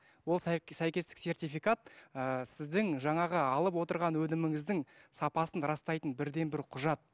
ол сәйкестік сертификат ыыы сіздің жаңағы алып отырған өніміңіздің сапасын растайтын бірден бір құжат